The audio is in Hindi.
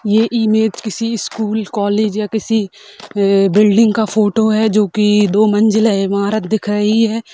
ये इमेज किसी स्कूल कॉलेज या किसी अ बिल्डिंग का फोटो है जो कि दो मंजिल है ईमारत दिख रही है।